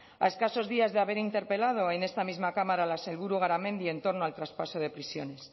a escasos días de haber interpelado en esta misma cámara la sailburu garamendi en torno al traspaso de prisiones